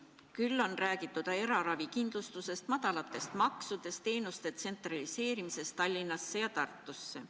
Küll on räägitud eraravikindlustusest, madalatest maksudest, teenuste tsentraliseerimisest Tallinnasse ja Tartusse.